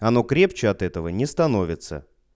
оно крепче от этого не становится